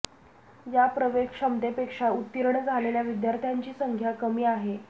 या प्रवेश क्षमतेपेक्षा उत्तीर्ण झालेल्या विद्यार्थ्यांची संख्या कमी आहे